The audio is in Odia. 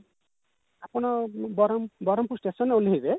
ଆପଣ ବରମ ବରମ୍ପୁର station ରେ ଓହ୍ଲେଇବେ